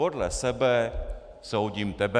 Podle sebe soudím tebe.